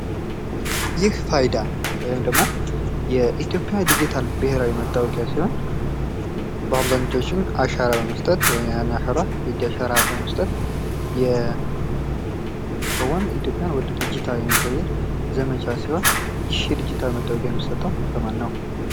የዲጂታል ማስታወቂያ በበይነመረብና በማህበራዊ ሚዲያ የሚካሄድ ሲሆን ሰፋ ያለ ታዳሚ የመድረስና ውጤቱን የመለካት ዕድል ይሰጣል።